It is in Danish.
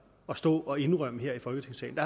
at stå og indrømme her i folketingssalen